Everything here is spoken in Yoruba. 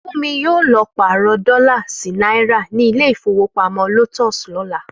Fúnmi yóò lọ pàrọ̀ dọlà sí náírà ní ilé ìfowópamọ́ Lotus lọ́la